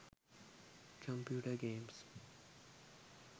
computer games